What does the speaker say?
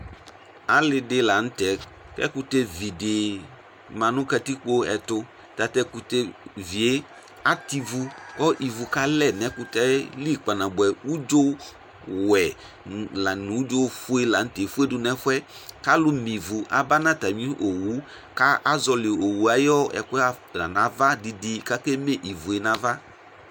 ali di lantɛ k'ɛkutɛ vi di ma no katikpo ɛto tatu ɛkutɛ vi yɛ atɛ ivu kò ivu ka lɛ n'ɛkutɛ yɛ li kpa na boɛ udzo wɛ la no udzo fue latɛ efue du n'ɛfuɛ k'alò me ivu aba n'atami owu k'azɔli owue ayi ɛkò yɛ afa n'ava di di k'ake me ivue n'ava.